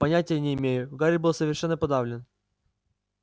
понятия не имею гарри был совершенно подавлен